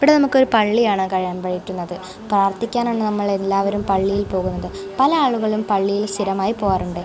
ഇവിടേ നമുക്കൊരു പള്ളിയാണ് കഴിയാൻ പറ്റുന്നത് പ്രാർത്ഥിക്കാൻ ആണ് നമ്മൾ എല്ലാവരും പോകുന്നത് പല ആളുകളും പള്ളിയിൽ സ്ഥിരമായി പോകാറുണ്ട്.